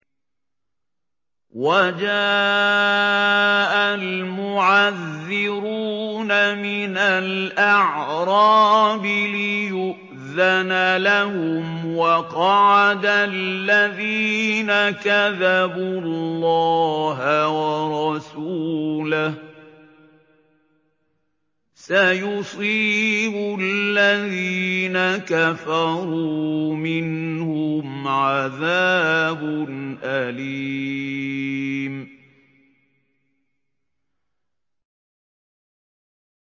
وَجَاءَ الْمُعَذِّرُونَ مِنَ الْأَعْرَابِ لِيُؤْذَنَ لَهُمْ وَقَعَدَ الَّذِينَ كَذَبُوا اللَّهَ وَرَسُولَهُ ۚ سَيُصِيبُ الَّذِينَ كَفَرُوا مِنْهُمْ عَذَابٌ أَلِيمٌ